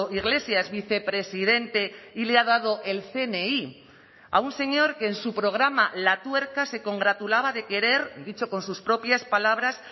iglesias vicepresidente y le ha dado el cni a un señor que en su programa la tuerca se congratulaba de querer dicho con sus propias palabras